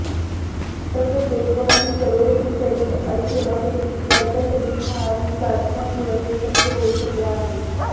तसंच देशभरातील करोडो शिवसैनिक आणि सेनाप्रेमी यांच्या सदिच्छा आणि प्रार्थनामुळं हे शक्य होऊ शकलं आहे